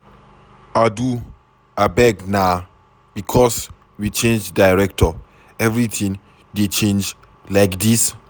Adu abeg na because we change director everything dey change like dis.